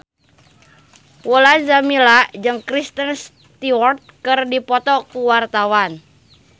Mulan Jameela jeung Kristen Stewart keur dipoto ku wartawan